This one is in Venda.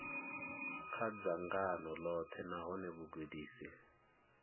kha dzangano ḽoṱhe nahone vhugudisi